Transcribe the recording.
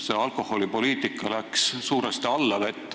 See alkoholipoliitika on läinud suuresti allavett.